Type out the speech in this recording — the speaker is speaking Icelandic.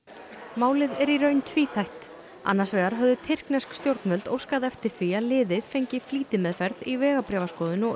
málið er í raun tvíþætt annars vegar höfðu tyrknesk stjórnvöld óskað eftir því að liðið fengi flýtimeðferð í vegabréfaskoðun og